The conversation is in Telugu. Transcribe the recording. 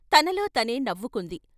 తనలో తనే నవ్వుకుంది.